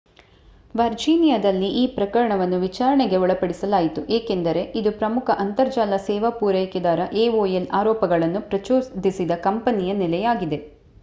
ವರ್ಜೀನಿಯಾದಲ್ಲಿ ಈ ಪ್ರಕರಣವನ್ನು ವಿಚಾರಣೆಗೆ ಒಳಪಡಿಸಲಾಯಿತು ಏಕೆಂದರೆ ಇದು ಪ್ರಮುಖ ಅಂತರ್ಜಾಲ ಸೇವಾ ಪೂರೈಕೆದಾರ aol ಆರೋಪಗಳನ್ನು ಪ್ರಚೋದಿಸಿದ ಕಂಪನಿಯ ನೆಲೆಯಾಗಿದೆ